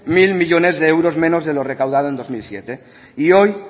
mil millónes de euros menos de lo recaudado en dos mil siete y hoy